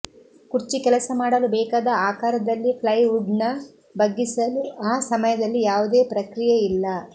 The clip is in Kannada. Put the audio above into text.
ಕುರ್ಚಿ ಕೆಲಸ ಮಾಡಲು ಬೇಕಾದ ಆಕಾರದಲ್ಲಿ ಪ್ಲೈವುಡ್ನ್ನು ಬಗ್ಗಿಸಲು ಆ ಸಮಯದಲ್ಲಿ ಯಾವುದೇ ಪ್ರಕ್ರಿಯೆಯಿಲ್ಲ